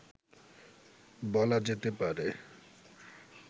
বলা যেতে পারে